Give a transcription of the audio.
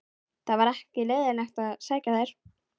Það var ekki leiðinlegt að sækja þær.